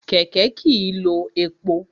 Kẹ̀kẹ́ kìí lo epo.